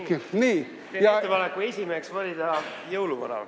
Teen ettepaneku esimeheks valida jõuluvana.